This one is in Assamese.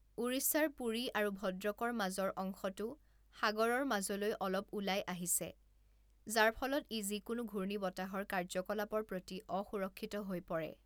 ওড়িশাৰ পুৰী আৰু ভদ্ৰকৰ মাজৰ অংশটো সাগৰৰ মাজলৈ অলপ ওলাই আহিছে, যাৰ ফলত ই যিকোনো ঘূৰ্ণীবতাহৰ কাৰ্যকলাপৰ প্ৰতি অসুৰক্ষিত হৈ পৰে।